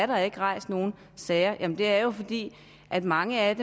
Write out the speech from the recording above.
der ikke har rejst nogle sager det er jo fordi mange af